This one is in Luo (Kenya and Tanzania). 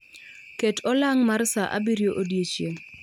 Ket olang' mar sa abirio odiechieng'